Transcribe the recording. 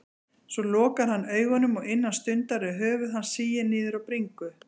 Svo lokar hann augunum og innan stundar er höfuð hans sigið niður á bringu.